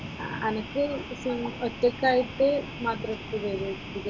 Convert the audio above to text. അനക്ക് ഒറ്റക്കായിട് എടുത്ത് മാത്രം എടുത്ത് തരുമോ ഈ പറഞ്ഞത്?